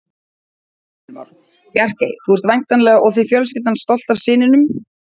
Heimir Már: Bjarkey, þú ert væntanlega og þið fjölskyldan stolt af syninum?